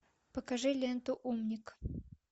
покажи ленту умник